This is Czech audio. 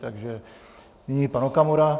Takže nyní pan Okamura.